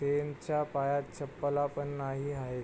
त्यांच्या पायात चपला पण नाही आहे.